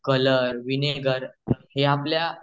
colour vinegar हे आपल्या